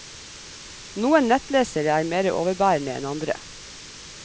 Noen nettlesere er mere overbærende enn andre.